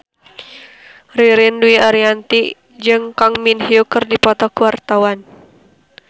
Ririn Dwi Ariyanti jeung Kang Min Hyuk keur dipoto ku wartawan